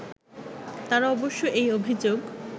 তারা অবশ্য এই অভিযোগ